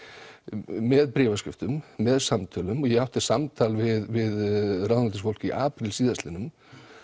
með bréfaskriftum með samtölum og ég átti samtal við ráðuneytisfólk í apríl síðastliðnum